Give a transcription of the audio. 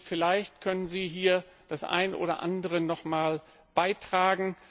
Vielleicht können Sie hier das eine oder andere nochmals beitragen.